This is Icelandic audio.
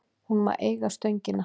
Hún má eiga Stöngina.